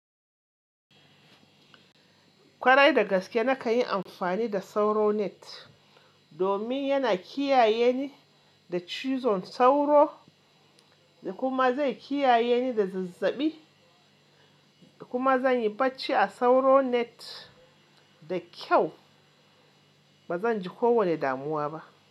Kwarai da gaske na kan yi amfani da sauro net domin yana kiyaye ni da cizon sauro da kuma zai kiyaye ni da zazzaɓi da kuma zan yi bacci a sauro net da kyau ba zan ji kowane damuwa ba.